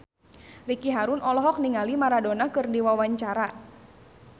Ricky Harun olohok ningali Maradona keur diwawancara